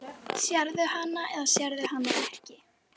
Sérðu hana eða sérðu hana ekki?